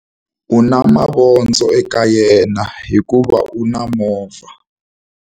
U na mavondzo eka yena hikuva u na movha.